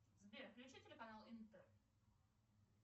сбер включи телеканал интер